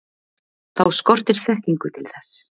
þá skortir þekkingu til þess